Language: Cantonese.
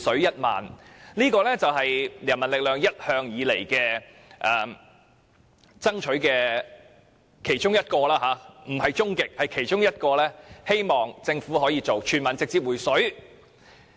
人民力量一向以來爭取的其中一個目標——不是終極目標——是希望政府可以全民直接"回水"，還富於民。